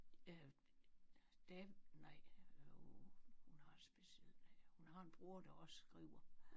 Øh det nej uh hun har et specielt navn. Hun har en bror der også skriver